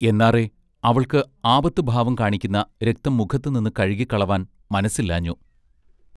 എന്നാറെ അവൾക്ക് ആപത്ത് ഭാവം കാണിക്കുന്ന രക്തം മുഖത്തു നിന്ന് കഴുകിക്കളവാൻ മനസ്സില്ലാഞ്ഞു.